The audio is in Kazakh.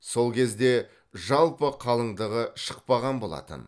сол кезде жалпы қалыңдығы шықпаған болатын